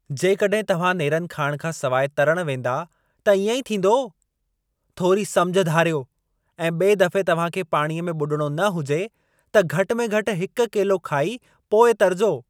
जेकॾहिं तव्हां नेरन खाइण खां सिवाइ तरण वेंदा त इएं ई थींदो। थोरी समिझ धारियो ऐं ॿिए दफ़े तव्हां खे पाणीअ में ॿुॾणो न हुजे, त घटि में घटि हिकु केलो खाई पोइ तरिजो।